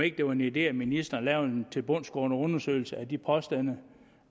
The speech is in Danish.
ikke en idé om ministeren lavede en tilbundsgående undersøgelse af de påstande